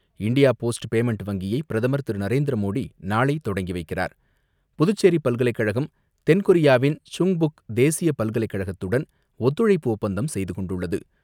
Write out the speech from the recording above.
India Post payment வங்கியை பிரதமர் திரு நரேந்திர மோடி நாளைத் தொடங்கி வைக்கிறார். புதுச்சேரி பல்கலைக்கழகம் தென்கொரியாவின் சுங்புக் தேசிய பல்கலைக்கழகத்துடன் ஒத்துழைப்பு ஒப்பந்தம் செய்து கொண்டுள்ளது.